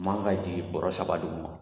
Man ka jigin borɛ saba duguma